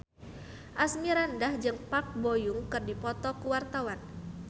Asmirandah jeung Park Bo Yung keur dipoto ku wartawan